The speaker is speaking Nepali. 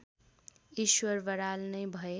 ईश्वर बराल नै भए